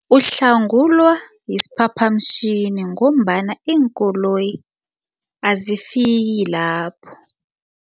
Uhlangulwa yisiphaphamtjhini ngombana iinkoloyi azifiki lapho.